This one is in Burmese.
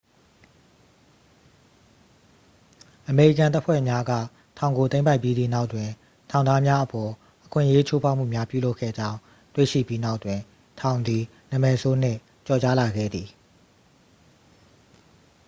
"""အမေရိကန်တပ်ဖွဲ့များက ထောင်ကို သိမ်းပိုက်ပြီးသည့်နောက်တွင် ထောင်သားများအပေါ် အခွင့်အရေး ချိုးဖောက်မှုများပြုလုပ်ခဲ့ကြောင်း တွေ့ရှိပြီးနောက်တွင် ထောင်သည် နာမည်ဆိုးနှင့် ကျော်ကြားလာခဲ့သည်။""